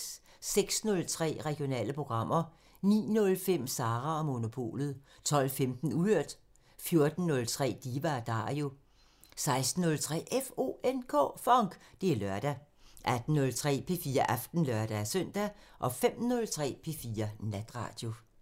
06:03: Regionale programmer 09:05: Sara & Monopolet 12:15: Uhørt 14:03: Diva & Dario 16:03: FONK! Det er lørdag 18:03: P4 Aften (lør-søn) 05:03: P4 Natradio